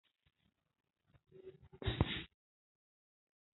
Babu Naira 700 a cikin kuɗin Nigeria.